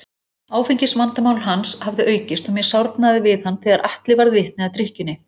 Áfengisvandamál hans hafði aukist og mér sárnaði við hann þegar Atli varð vitni að drykkjunni.